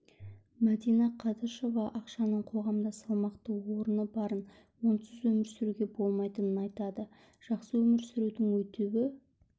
мадина қадышева ақшаның қоғамда салмақты орны барын онсыз өмір сүруге болмайтынын айтады жақсы өмір сүрудің өтеуі